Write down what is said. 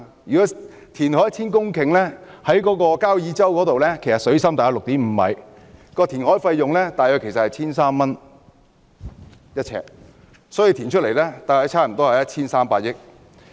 如果填海 1,000 公頃，以交椅洲水深大約 6.5 米計算，填海費用約為每平方呎 1,300 元，所以填海開支合共約 1,300 億元。